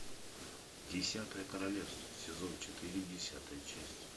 десятое королевство сезон четыре десятая часть